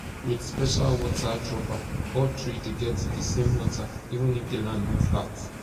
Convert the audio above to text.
with special water dropper all tree dey get di same water even if di land no flat